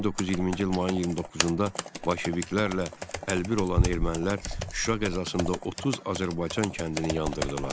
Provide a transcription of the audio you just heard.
1920-ci il mayın 29-da bolşeviklərlə əlbir olan ermənilər Şuşa qəzasında 30 Azərbaycan kəndini yandırdılar.